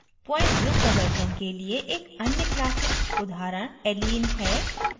point group प्रदर्शन के लिए एक अन्य classic उदाहरण allene है